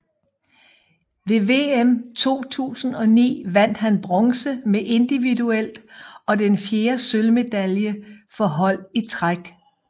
Ved VM 2009 vandt han bronze individuelt og den fjerde sølvmedalje for hold i træk